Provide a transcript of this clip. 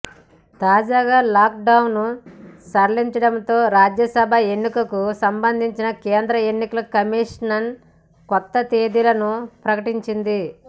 తాజాగా లాక్డౌన్ను సడలించడంతో రాజ్యసభ ఎన్నికలకు సంబంధించి కేంద్ర ఎన్నికల కమిషన్ కొత్త తేదీలను ప్రకటించింది